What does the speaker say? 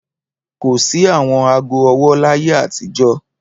Kò sí àwọn ago-ọwọ́ láyé àtijọ́.